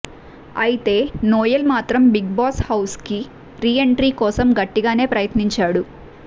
అయితే నోయల్ మాత్రం Bigg Boss హౌస్కి రీ ఎంట్రీ కోసం గట్టిగానే ప్రయత్నించాడు